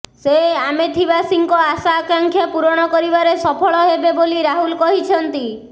ସେ ଆମେଥିବାସୀଙ୍କ ଆଶା ଆକାଂକ୍ଷା ପୂରଣ କରିବାରେ ସଫଳ ହେବେ ବୋଲି ରାହୁଲ କହିଛନ୍ତି